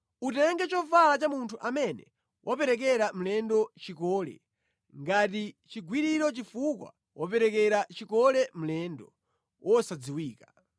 Utenge chovala cha munthu amene waperekera mlendo chikole; ngati chigwiriro chifukwa waperekera chikole mlendo wosadziwika.